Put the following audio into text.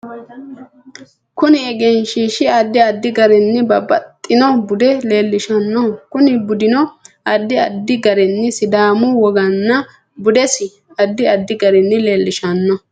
Kuni egenshiishi addi addi garinni babbaxino bude leelishanno kuni budino addi addi garinni sidaamu wogana budesi addi addi garinni leelishanno